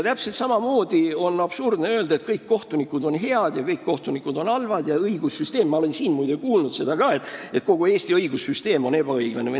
Täpselt samamoodi on absurdne öelda, et kõik kohtunikud on head või halvad või et kogu Eesti õigussüsteem – ma olen, muide, seda ka siin kuulnud – on ebaõiglane.